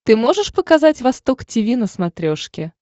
ты можешь показать восток тиви на смотрешке